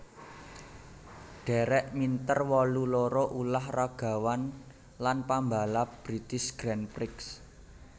Derek Minter wolu loro ulah ragawan lan pambalap British Grand Prix